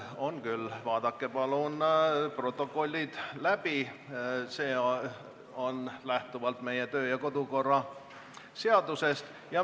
On küll, vaadake palun protokollid läbi, see lähtub meie kodu- ja töökorra seadusest.